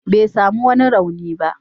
Bai sami wani rauni ba.